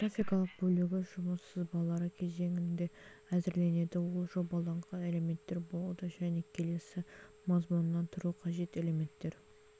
графикалық бөлігі жұмыс сызбалары кезеңінде әзірленеді ол жобаланған элементтер болады және келесі мазмұннан тұруы қажет элементтер